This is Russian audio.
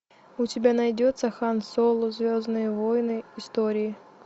у тебя найдется хан соло звездные войны истории